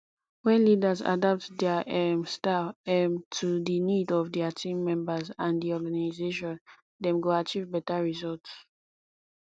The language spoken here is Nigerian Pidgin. when leaders adapt dia um style um to di need of dia team members and di organization dem go achieve beta results